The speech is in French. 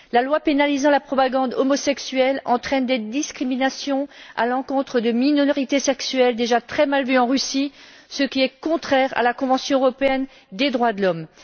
La loi pénalisant la propagande homosexuelle entraine des discriminations à l'encontre de minorités sexuelles déjà très mal vues en Russie, ce qui est contraire à la Convention européenne des droits de l'homme.